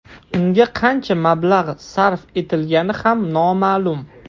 Unga qancha mablag‘ sarf etilgani ham noma’lum.